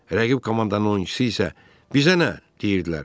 Rəqib komandanın oyunçusu isə "bizə nə" deyirdilər.